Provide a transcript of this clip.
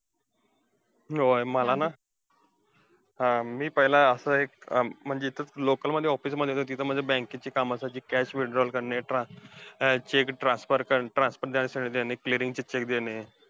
होय मला ना, हा मी पहिला असं एक म्हणजे एक local मध्ये office मध्ये होतो. तिथे मला bank ची कामासाठी cash withdrawal करणे, trans अं cheque transfer करण्यासाठी चे देणे.